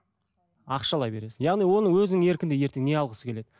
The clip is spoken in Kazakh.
ақшалай бересің яғни оның өзінің еркінде ертең не алғысы келеді